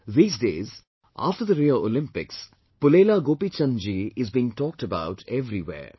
These days, after Rio Olympics, Pulela Gopi Chand ji is being talked about everywhere